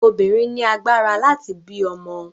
Obìnrin ni agbára láti bí ọmọ.